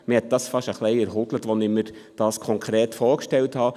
Es hat mich beinahe etwas erschüttert, als ich mir dies konkret vorstellte: